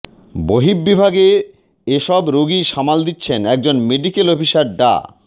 বহিঃবিভাগের এসব রোগী সামাল দিচ্ছেন একজন মেডিকেল অফিসার ডা